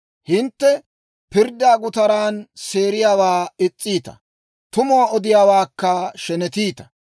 Hintte pirddaa gutaran seeriyaawaa is's'iita; tumuwaa odiyaawaakka shenetiita.